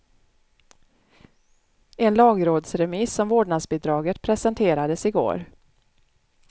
En lagrådsremiss om vårdnadsbidraget presenterades i går.